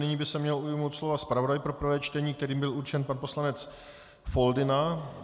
Nyní by se měl ujmout slova zpravodaj pro prvé čtení, kterým byl určen pan poslanec Foldyna.